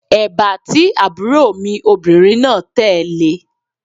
Èbá tí àbúrò mi obìnrin náà tẹ̀ le